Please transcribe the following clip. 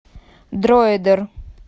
дроидер